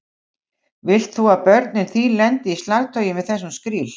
Vilt þú að börnin þín lendi í slagtogi með þessum skríl?